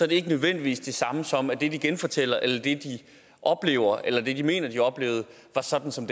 det ikke nødvendigvis det samme som at det de genfortæller eller at det de oplevede eller at det som de mener de oplevede var sådan som